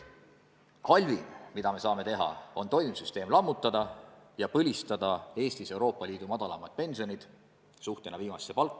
Halvim, mida me saame teha, on toimiv süsteem lammutada ja põlistada Eestis Euroopa Liidu madalaimad pensionid – seda siis protsendina viimasest palgast.